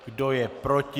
Kdo je proti?